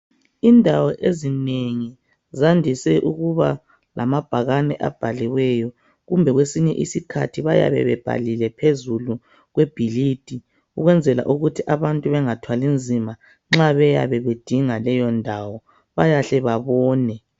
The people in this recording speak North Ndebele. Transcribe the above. Indawo ezinengi zandise ukuba lamabhakane abhaliweyo kumbe kwesinye isikhathi bayabe bebhalile phezulu kwebhilidi ukwenzela ukuthi abantu bengathwali nzima nxa beyabe bedinga leyondawo bayahle babone.